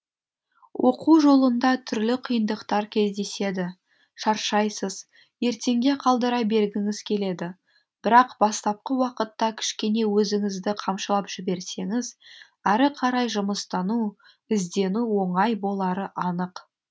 оқу жолында түрлі қиындықтар кездеседі шаршайсыз ертеңге қалдыра бергіңіз келеді бірақ бастапқы уақытта кішкене өзіңізді қамшылап жіберсеңіз әрі қарай жұмыстану іздену оңай болары анық